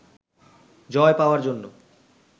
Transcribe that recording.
জয় পাওয়ার জন্য